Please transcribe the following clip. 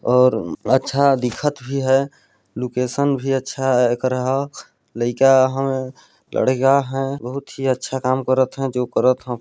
और अच्छा दिखत भी है लोकेशन भी अच्छा कार्या है लैकिया है लड़का है बहुत ही अच्छा काम करत है जो करत हैं।